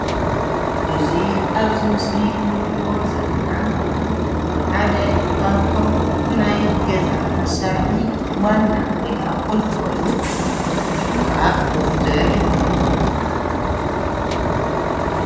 እዚ አብዚ ምስሊ እንሪኦ ዘለና ሓደ ካብቶም ናይ ገዛ መሳርሒ ዋና ወይ ከአ ቁልፊ ኮይኑ፤ ሹሙ ከአ መፍቱሕ ይበሃል፡፡